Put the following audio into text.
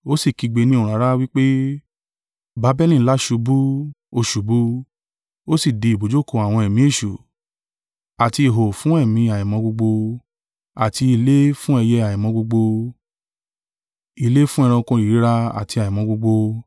Ó sì kígbe ní ohùn rara, wí pé: “Babeli ńlá ṣubú! Ó ṣubú! Ó sì di ibùjókòó àwọn ẹ̀mí èṣù, àti ihò fún ẹ̀mí àìmọ́ gbogbo, àti ilé fún ẹyẹ àìmọ́ gbogbo, ilé fún ẹranko ìríra àti àìmọ́ gbogbo.